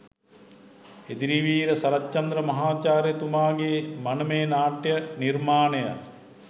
එදිරිවීර සරච්චන්ද්‍ර මහාචාර්යතුමාගේ මනමේ නාට්‍ය නිර්මාණය